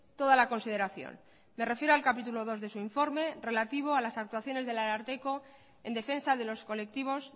toda la consideración me refiero al capítulo dos de su informe relativo a las actuaciones del ararteko en defensa de los colectivos